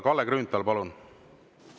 Kalle Grünthal, palun!